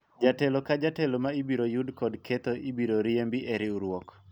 jatelo ka jatelo ma ibiro yud kod ketho ibiro riembi e riwruok